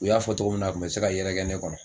U y'a fɔ tɔgɔ min na a kun bɛ se ka yɛrɛ kɛ ne kɔnɔ.